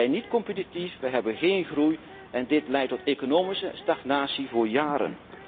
Wij zijn niet competitief, wij hebben geen groei en dit leidt tot economische stagnatie voor jaren.